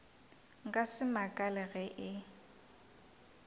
nka se makale ge e